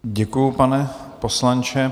Děkuji, pane poslanče.